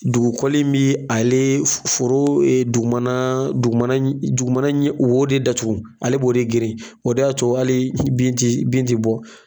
Dugukoli bɛ ale foro dugumana dugumana dugumana in wo de datugu, ale b'o de geren, o de y'a to hali bin tɛ bin tɛ bɔ